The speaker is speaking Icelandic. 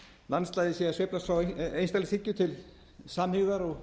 landslagið sé að sveiflast frá einstaklingshyggju til samhygðar og